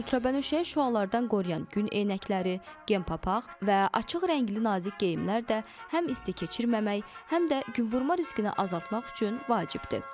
Ultrabənövşəyi şüalardan qoruyan gün eynəkləri, kepapaq və açıq rəngli nazik geyimlər də həm isti keçirməmək, həm də günvurma riskini azaltmaq üçün vacibdir.